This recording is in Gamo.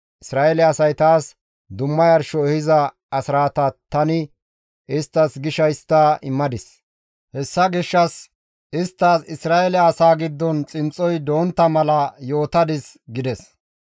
Isra7eele asay taas dumma yarsho ehiza asraataa tani isttas gisha histta immadis; hessa gishshas isttas Isra7eele asaa giddon xinxxoy dontta mala yootadis» gides.